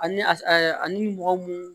Ani a ni mɔgɔ mun